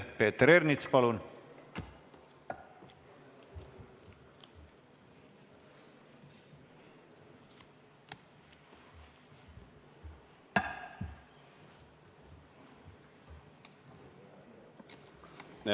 Peeter Ernits, palun!